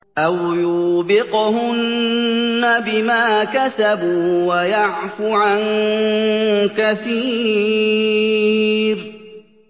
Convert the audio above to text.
أَوْ يُوبِقْهُنَّ بِمَا كَسَبُوا وَيَعْفُ عَن كَثِيرٍ